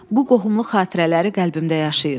Bu qohumluq xatirələri qəlbimdə yaşayır.